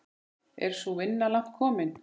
Er sú vinna langt komin.